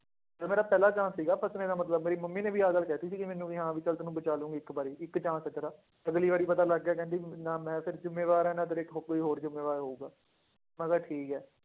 ਇਹ ਮੇਰਾ ਪਹਿਲਾ chance ਸੀਗਾ ਬਚਣੇ ਦਾ ਮਤਲਬ ਮੇਰੀ ਮੰਮੀ ਨੇ ਵੀ ਆਹ ਗੱਲ ਕਹਿ ਦਿੱਤੀ ਸੀਗੀ ਮੈਨੂੰ ਵੀ ਹਾਂ ਵੀ ਚੱਲ ਤੈਨੂੰ ਬਚਾ ਲਵਾਂਗੀ ਇੱਕ ਵਾਰੀ ਇੱਕ chance ਦਿੱਤਾ, ਅਗਲੀ ਵਾਰੀ ਪਤਾ ਲੱਗ ਗਿਆ ਕਹਿੰਦੀ ਨਾ ਮੈਂ ਫਿਰ ਜ਼ਿੰਮੇਵਾਰ ਹੈ ਨਾ ਤੇਰੇ ਹੋ ਕੋਈ ਹੋਰ ਜ਼ਿੰਮੇਵਾਰ ਹੋਊਗਾ, ਮੈਂ ਕਿਹਾ ਠੀਕ ਹੈ